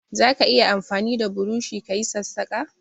Zaka iya amfani da burushi ka yi sassaƙa?